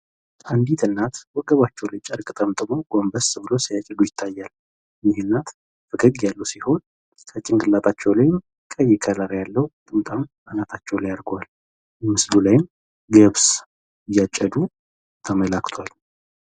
አንዲት እናት ወገባቸው ላይ ጨርቅ ጠምጥመው ጎንበስ ብለው ሲያጭዱ ይታያል። እኚህ እናት ፈገግ ያሉ ሲሆን በጭንቅላታቸውም ላይ ቀይ ከለር ጥምጣም አናታቸው ላይ አርገዋል ። ምስሉ ላይም ገብስ እያጨዱ ተመላክቷል